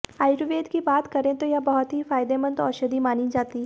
आर्युवेद की बात करें तो यह बहुत ही फायदेमंद औषधि मानी जाती है